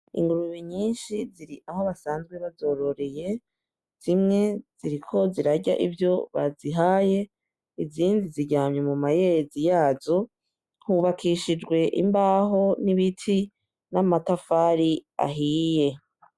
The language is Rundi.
Ingurube nyinshi ziri aho basanze bazororeye, zimwe ziriko zirarya ivyo bazihaye izindi ziryamye mu mayezi yazo. Hubakishijwe imbaho n'ibiti n'amatafari ahiye.